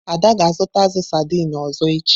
Ada ga-azụta azu saidini ọzọ echi.